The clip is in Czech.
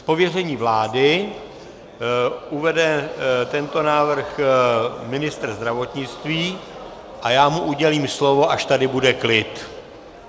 Z pověření vlády uvede tento návrh ministr zdravotnictví a já mu udělím slovo, až tady bude klid.